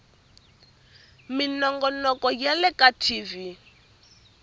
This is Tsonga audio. minongonoko ya le ka tv